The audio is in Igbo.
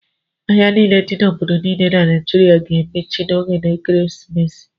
Ahịa niile dị n'obodo niile dị na Naịjirịa ga-emechi n'oge ekeresimesi.